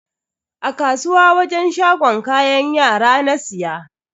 A kasuwa wajen shagon kayan yara na siya.